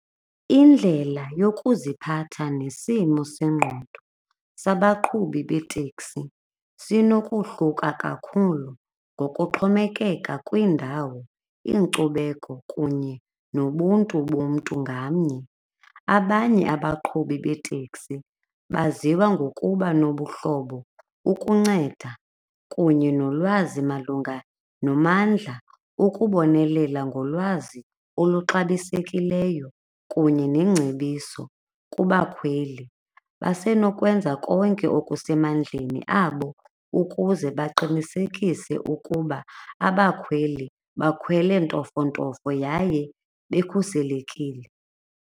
Indlela yokuziphatha nesimo sengqondo sabaqhubi beeteksi sinokohluka kakhulu ngokuxhomekeka kwiindawo, iinkcubeko kunye nobuntu bomntu ngamnye. Abanye abaqhubi beeteksi baziwa ngokuba nobuhlobo ukunceda kunye nolwazi malunga nomandla, ukubonelela ngolwazi oluxabisekileyo kunye neengcebiso kubakhweli basenokwenza konke okusemandleni abo ukuze baqinisekise ukuba abakhweli bakhwele ntofontofo yaye bekhuselekile.